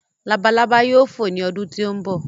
Labalábá yóò fò ní ọdún tí ó ń bọ̀